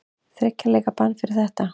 Þriggja leikja bann fyrir þetta?